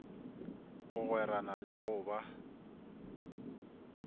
go gwerana le go ba